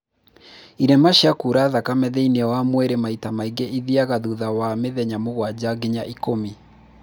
irema cia kura thakame thĩiniĩ wa mwĩrĩ maita maingĩ ithiaga thutha wa mĩthenya mũgwanja nginya ikũmi